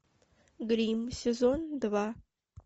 гримм сезон два